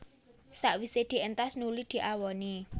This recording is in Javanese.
Sawisé dientas nuli diawoni